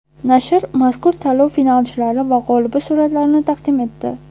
Nashr mazkur tanlov finalchilari va g‘olibi suratlarini taqdim etdi.